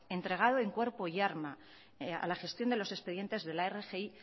entregado en cuerpo y alma a la gestión de los expedientes de la rgi